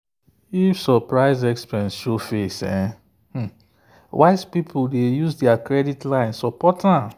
if surprise expense show face wise people dey use their credit line support am.